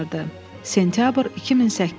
Sentyabr 2008.